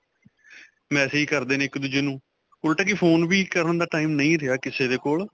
message ਕਰਦੇ ਨੇ ਇੱਕ-ਦੂਜੇ ਨੂੰ. ਉਲਟਾ ਕਿ phone ਵੀ ਕਰਨ ਦਾ time ਨਹੀਂ ਰਿਹਾ ਕਿਸੇ ਦੇ ਕੋਲ.